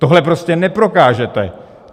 Tohle prostě neprokážete.